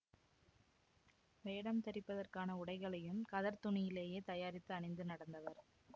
பரிணாமத்தில் மனிதனின் இடம் குறித்தது மனிதனிலிருந்து குரங்கின் பரிணாமத்தை விளக்குகிறார் டாக்டர் ஏங்கல்ஸின் தத்துவத்தை விளக்குகிறார்